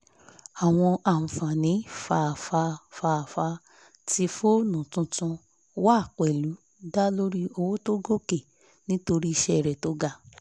àwọn ànfàní fafa fafa tí foonu tuntun wá pẹ̀lú dá lórí owo tó gòkè nítorí iṣẹ́ rẹ̀ tó ga